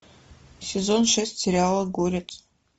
сезон шесть сериала горец